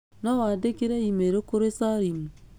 no wandĩkĩre e-mail kũrĩ salim